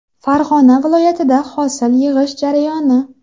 Farg‘ona viloyatida hosil yig‘ish jarayoni.